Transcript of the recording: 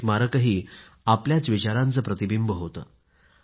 ते स्मारकही आपल्या विचारांचे प्रतिबिंब होते